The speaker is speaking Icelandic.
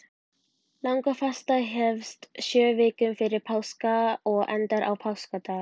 Langafasta hefst sjö vikum fyrir páska og endar á páskadag.